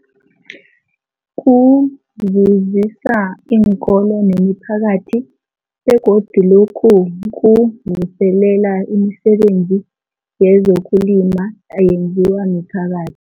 Kuzuzisa iinkolo nemiphakathi begodu lokhu kuvuselela imisebenzi yezokulima eyenziwa miphakathi.